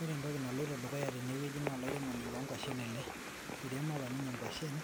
Ore entoki naloito dukuya tene wueji naa olairemoni loo nkuashen ele ereimo apa ninye nkuashen